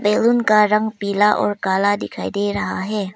Balloon का रंग पीला और काला दिखाई दे रहा है।